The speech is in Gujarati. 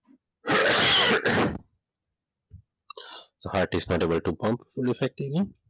heart is